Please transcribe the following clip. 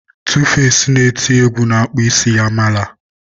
2face na-eti egwu na-akpụ isi ya mala.